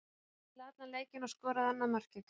Hann spilaði allan leikinn og skoraði annað markið.